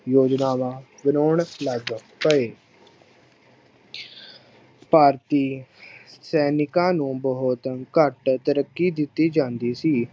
ਯੋਜਨਾਵਾਂ ਬਣਾਉਣ ਲੱਗ ਪਏ ਭਾਰਤੀ ਸੈਨਿਕਾਂ ਨੂੰ ਬਹੁਤ ਘੱਟ ਤਰੱਕੀ ਦਿੱਤੀ ਜਾਂਦੀ ਸੀ।